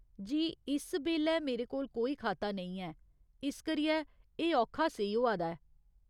की जे इस बेल्लै मेरे कोल कोई खाता नेईं ऐ, इस करियै एह् औखा सेही होआ दा ऐ।